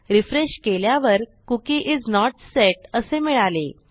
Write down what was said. refresh केल्यावर cookie is not set असे मिळाले